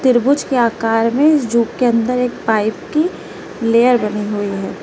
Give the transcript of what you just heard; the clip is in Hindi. त्रिभुज के आकार में जूं के अंदर एक पाइप की लेयर बनी हुई है।